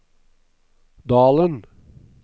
Dalen